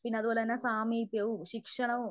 പിന്നെ അതുപോലെതന്നെ സാമീപ്യവും ശിക്ഷണവും